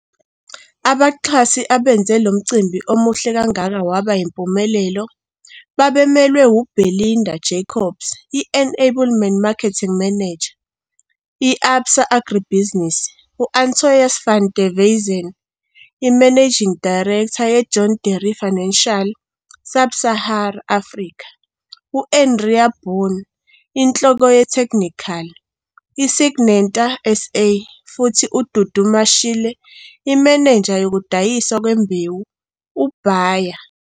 Abaxhasi abenze lo mcimbi omuhle kangaka waba yimpumelelo babemelwe u-Belinda Jacobs, i-Enablement Marketing Manager- i-Absa AgriBusiness, U-Antois van der Westhuizen, i-Managing Director- ye-John Deere Financial Sub Sahara Africa, u-Andrea Boon, iNhloko- yeTheknikhali, i-Syngenta SA, futhi uDudu Mashile, Imenenja yokuDayiswa kweMbewu, u-Bayer,